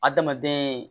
Adamaden